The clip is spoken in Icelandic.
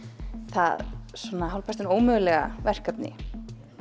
það hálfpartinn ómögulega verkefni